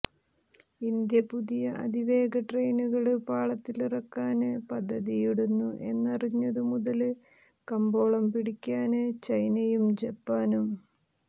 India പുതിയ അതിവേഗ ട്രെയിനുകള് പാളത്തിലിറക്കാന് പദ്ധതിയിടുന്നു എന്നറിഞ്ഞതു മുതല് കമ്പോളം പിടിക്കാന് ചൈനയും ജപ്പാനും